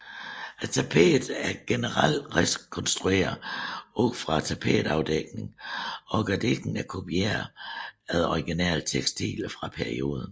Tapeterne er generelt rekonstruerede ud fra tapetafdækninger og gardinerne er kopieret efter originale tekstiler fra perioden